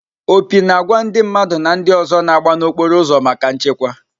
Opi na àgwà ndị mmadụ na ndị ọzọ na-agba n'okporo ụzọ maka nchekwa.